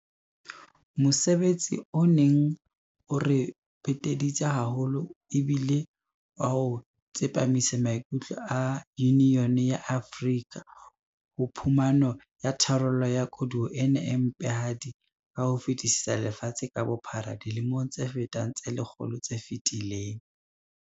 Mosebetsi o neng o re peteditse haholo e bile wa ho tsepamisa maikutlo a AU ho phumano ya tharollo ya koduwa ena e mpehadi ka ho fetisisa lefatshe ka bophara dilemong tse fetang tse lekgolo tse fetileng.